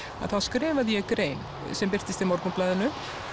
þá skrifaði ég grein sem birtist í Morgunblaðinu